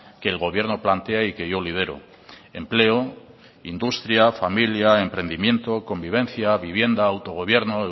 que el gobierno plantea y que yo lidero empleo industria familia emprendimiento convivencia vivienda autogobierno